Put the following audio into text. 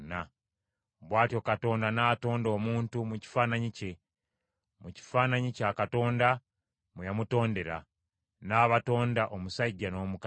Bw’atyo Katonda n’atonda omuntu mu kifaananyi kye, mu kifaananyi kya Katonda mwe yamutondera; n’abatonda omusajja n’omukazi.